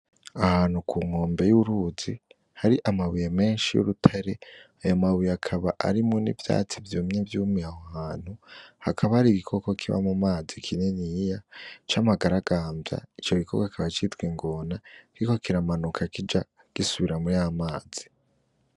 Ahantu ku nkombe y'uruzi hari amabuye menshi y'urutere ayo mabuye akaba, arimo n'ivyatsi vyumye vyumiye aho hantu hakaba har'igikoko kiba mu mazi kininiya c'amagaragamvya, ico gikoko kikaba citwa ingona kiriko kiramanuka kija gisubira muri yamazi.